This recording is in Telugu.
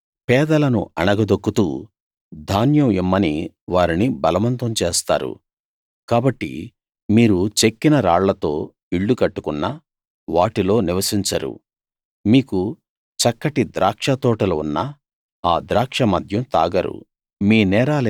మీరు పేదలను అణగదొక్కుతూ ధాన్యం ఇమ్మని వారిని బలవంతం చేస్తారు కాబట్టి మీరు చెక్కిన రాళ్ళతో ఇళ్ళు కట్టుకున్నా వాటిలో నివసించరు మీకు చక్కటి ద్రాక్ష తోటలు ఉన్నా ఆ ద్రాక్ష మద్యం తాగరు